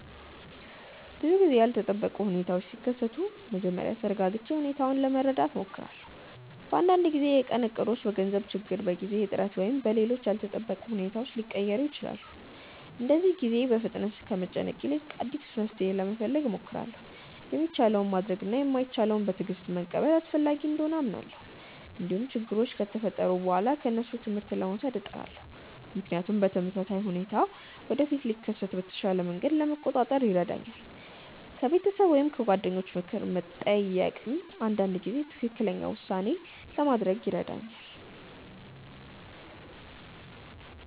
ብዙ ጊዜ ያልተጠበቁ ሁኔታዎች ሲከሰቱ መጀመሪያ ተረጋግቼ ሁኔታውን ለመረዳት እሞክራለሁ። አንዳንድ ጊዜ የቀን እቅዶች በገንዘብ ችግር፣ በጊዜ እጥረት ወይም በሌሎች ያልተጠበቁ ሁኔታዎች ሊቀየሩ ይችላሉ። በእንደዚህ ጊዜ በፍጥነት ከመጨነቅ ይልቅ አዲስ መፍትሔ ለመፈለግ እሞክራለሁ። የሚቻለውን ማድረግ እና የማይቻለውን በትዕግስት መቀበል አስፈላጊ እንደሆነ አምናለሁ። እንዲሁም ችግሮች ከተፈጠሩ በኋላ ከእነሱ ትምህርት ለመውሰድ እጥራለሁ፣ ምክንያቱም ተመሳሳይ ሁኔታ ወደፊት ሲከሰት በተሻለ መንገድ ለመቆጣጠር ይረዳኛል። ከቤተሰብ ወይም ከጓደኞች ምክር መጠየቅም አንዳንድ ጊዜ ትክክለኛ ውሳኔ ለማድረግ ይረዳኛል።